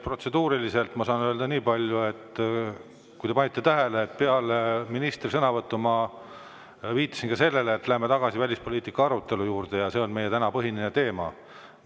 Protseduuriliselt ma saan öelda nii palju, et kui te panite tähele, siis peale ministri sõnavõttu ma viitasin sellele, et me peaksime minema tagasi välispoliitika arutelu juurde, sest see on meie tänane põhiline teema.